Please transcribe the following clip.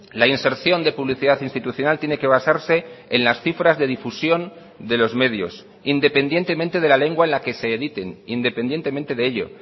la inserción de publicidad institucional tiene que basarse en las cifras de difusión de los medios independientemente de la lengua en la que se editen independientemente de ello